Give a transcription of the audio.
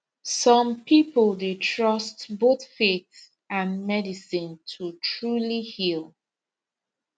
some people dey trust both faith and medicine to truly heal